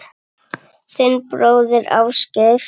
Þinn bróðir, Ásgeir.